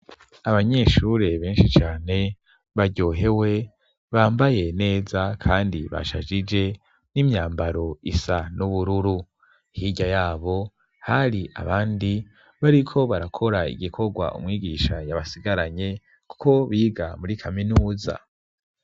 abanyeshure benshi cane baryohewe, bambaye neza, kandi bashajije n'imyambaro isa n'ubururu. hirya yabo hari abandi bariko barakora igikorwa umwigisha yabasigaranye, kuko biga muri kaminuza.